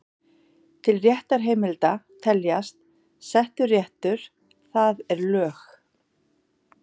Til réttarheimilda teljast: Settur réttur, það er lög.